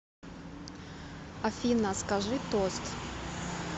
афина скажи тост